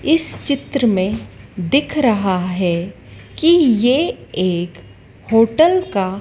इस चित्र में दिख रहा है कि ये एक होटल का--